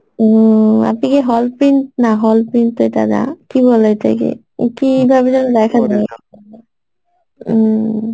উম আপনি কি hall print না hall print তো এটা না কি বলে এটা কে? কি ভাবে যেন দেখা যায় উম